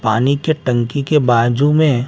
पानी के टंकी के बाजू में--